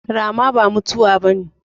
Rama ba mutuwa ba